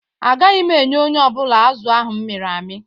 Agaghị m enye onye ọ bụla azụ̀ ahụ m mịrị amị.